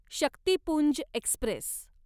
Shaktipunj Express